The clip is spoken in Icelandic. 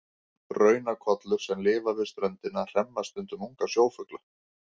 Ranakollur sem lifa við ströndina hremma stundum unga sjófugla.